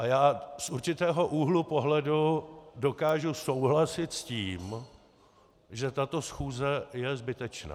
A já z určitého úhlu pohledu dokážu souhlasit s tím, že tato schůze je zbytečná.